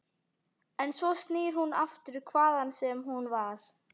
En svo snýr hún aftur, hvaðan sem hún var.